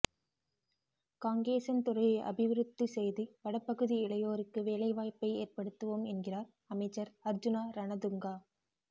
காங்கேசன்துறையை அபிவிருத்தி செய்து வடபகுதி இளையோருக்கு வேலை வாய்ப்பை ஏற்படுத்துவோம் என்கிறார் அமைச்சர் அர்ஜுனா ரணதுங்கா